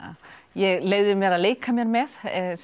ég leyfði mér að leika mér með